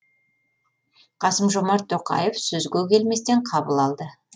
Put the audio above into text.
қасым жомарт тоқаев сөзге келместен қабыл алды